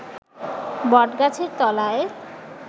বটগাছের তলায়